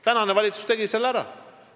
Tänane valitsus tegi selle ära.